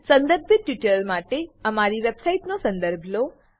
સંદર્ભિત ટ્યુટોરીયલો માટે કૃપા કરી અમારી વેબસાઈટનો સંદર્ભ લો